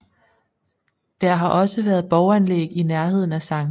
Der har også været borganlæg i nærheden af Skt